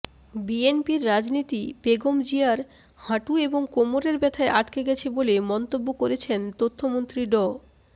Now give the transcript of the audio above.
বিএনপির রাজনীতি বেগম জিয়ার হাঁটু এবং কোমরের ব্যাথায় আটকে গেছে বলে মন্তব্য করেছেন তথ্যমন্ত্রী ড